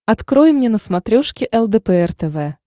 открой мне на смотрешке лдпр тв